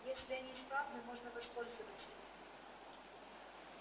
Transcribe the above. если они исправны можно воспользоваться ими